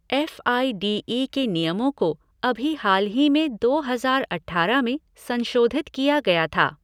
F I D E के नियमों को अभी हाल ही में दो हजार अठारह में संशोधित किया गया था।